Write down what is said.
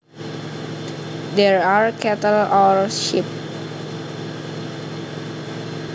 there are cattle or sheep